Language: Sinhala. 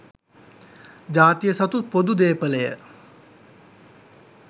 ජාතිය සතු පොදු දේපලය.